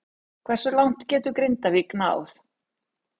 Hversu langt getur Grindavík náð?